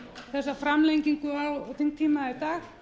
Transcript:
þessa framlengingu á þingtíma í dag